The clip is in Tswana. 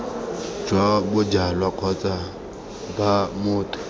jwa bojalwa kgotsa b motho